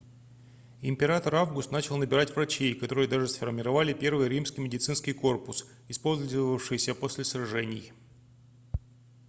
император август начал набирать врачей которые даже сформировали первый римский медицинский корпус использовавшийся после сражений